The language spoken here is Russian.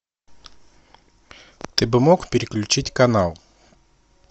ты бы мог переключить канал